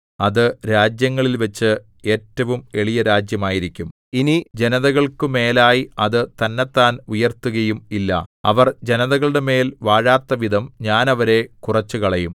അത് രാജ്യങ്ങളിൽവച്ച് ഏറ്റവും എളിയരാജ്യമായിരിക്കും ഇനി ജനതകൾക്കു മേലായി അത് തന്നെത്താൻ ഉയർത്തുകയും ഇല്ല അവർ ജനതകളുടെമേൽ വാഴാത്തവിധം ഞാൻ അവരെ കുറച്ചുകളയും